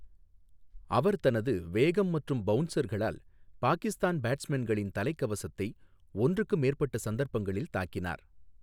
அவர் தனது வேகம் மற்றும் பவுன்சர்களால் பாகிஸ்தான் பேட்ஸ்மேன்களின் தலைக்கவசத்தை ஒன்றுக்கு மேற்பட்ட சந்தர்ப்பங்களில் தாக்கினார்.